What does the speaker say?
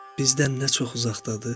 Bizdən nə çox uzaqdadır?